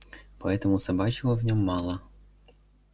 поэтому собачьего в нем мало